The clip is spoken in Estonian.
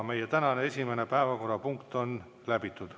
Meie tänane esimene päevakorrapunkt on läbitud.